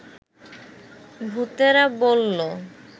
ভূতেরা বলল